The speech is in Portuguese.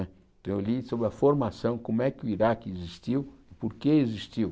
Né então eu li sobre a formação, como é que o Iraque existiu, por que existiu.